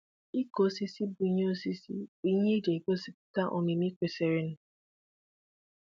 ịkụ osisi bu ihé osisi bu ihé e jì é gosiputa omimi kwesirinụ